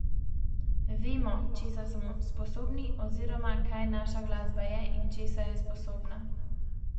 Vemo, česa smo sposobni oziroma, kaj naša glasba je in česa je sposobna.